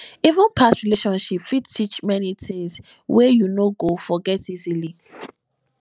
even past relationship fit teach many tings wey you no go forget easily